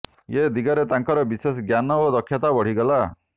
ଏ ଦିଗରେ ତାଙ୍କର ବିଶେଷ ଜ୍ଞାନ ଓ ଦକ୍ଷତା ବଢ଼ିଗଲା